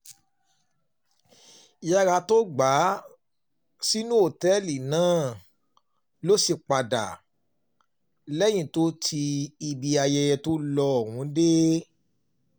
yàrá tó um gbà sínú òtẹ́ẹ̀lì náà ló um sì padà sí lẹ́yìn tó ti ibi ayẹyẹ tó lo ohùn dé